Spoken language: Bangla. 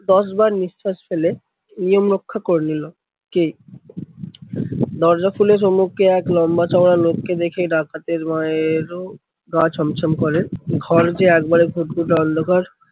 দশবার নিঃশ্বাস ফেলে নিয়ম রক্ষা করে নিলো। কে, দরজা খুলে সম্মুখে এক লম্বা চওড়া লোককে দেখে ডাকাতের মায়েরও গা ছম ছম করে। ঘর যে একবারে ঘুটঘুটে অন্ধকার।